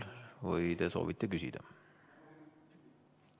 Või te soovite küsida?